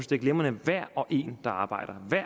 det er glimrende med hver og en der arbejder